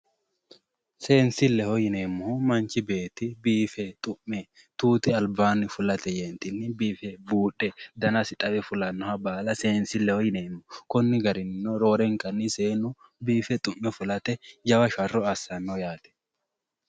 Seensileho yineemmohu manchi beetti biife xume tuti albaanni fulate yeetinni biife buudhe dannasi xawe fulannoha baalla seensileho yineemmo konni garininno roorenka seennu biife xume fulate jawa sharro assano yaate.